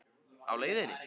Á leiðinni?